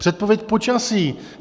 Předpověď počasí.